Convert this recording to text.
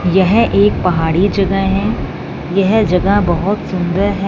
यह एक पहाड़ी जगह है। यह जगह बहुत सुंदर है।